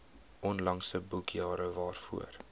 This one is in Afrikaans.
onlangse boekjare waarvoor